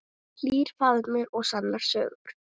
Hlýr faðmur og sannar sögur.